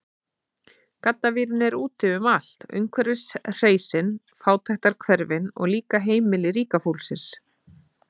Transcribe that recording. Gaddavírinn er úti um allt, umhverfis hreysin, fátækrahverfin, og líka heimili ríka fólksins.